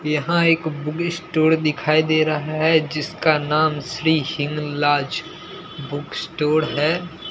यहां एक book store दिखाई दे रहा है जिसका नाम Shri Hinglaj book store है।